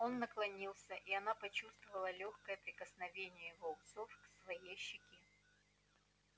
он наклонился и она почувствовала лёгкое прикосновение его усов к своей щеке